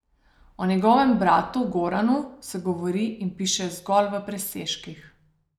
O njegovem bratu Goranu se govori in piše zgolj v presežnikih.